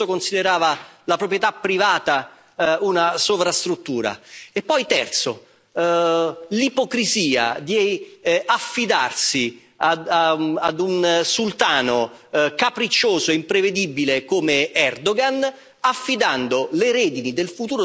E poi, terzo, l'ipocrisia di affidarsi a un sultano capriccioso e imprevedibile come Erdogan, affidando le redini del futuro dell'Unione europea ad una nazione non europea.